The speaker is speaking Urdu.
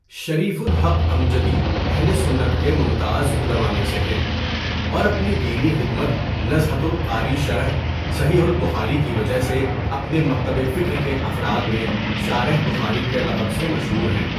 شریف الحق امجدی اہل سنت کے ممتاز علما میں سے ہیں اور اپنی دینی خدمت نزھۃ القاری شرح صحیح البخاری کی وجہ سے اپنے مکتب فکر کے افراد میں شارح بخاری کے لقب سے مشہور ہیں.